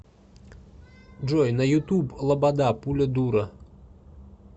джой на ютуб лобода пуля дура